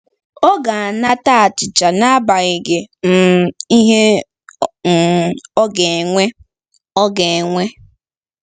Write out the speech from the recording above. Ọ ga-anata achịcha n'agbanyeghị um ihe um ọ ga-ewe. ọ ga-ewe.